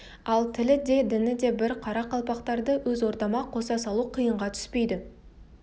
ал тілі де діні де бір қарақалпақтарды өз ордама қоса салу қиынға түспейді